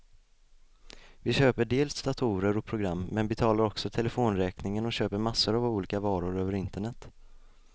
Vi köper dels datorer och program, men betalar också telefonräkningen och köper massor av olika varor över internet.